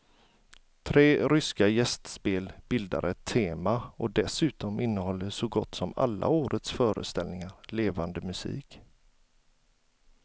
Tre ryska gästspel bildar ett tema och dessutom innehåller så gott som alla årets föreställningar levande musik.